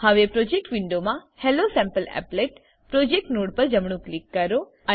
હવે પ્રોજેક્ટ વિન્ડોમા હેલોસેમ્પલીપલેટ પ્રોજેક્ટ નોડ પર જમણું ક્લિક કરો